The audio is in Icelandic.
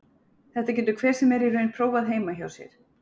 Þetta getur hver sem er í raun prófað heima hjá sér.